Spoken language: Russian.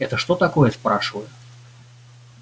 это что такое спрашиваю